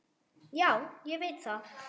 Já, ég veit það